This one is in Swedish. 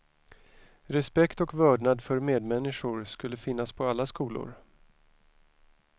Respekt och vördnad för medmänniskor skulle finnas på alla skolor.